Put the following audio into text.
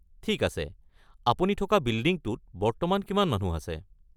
ঠিক আছে, আপুনি থকা বিল্ডিংটোত বর্তমান কিমান মানুহ আছে?